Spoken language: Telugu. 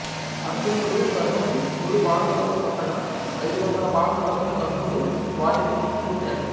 అర్జునుడు కర్ణుని నూరు బాణములతో కొట్టగా అయిదు వందల బాణములతో కర్ణుడు వాటిని తిప్పి కొట్టాడు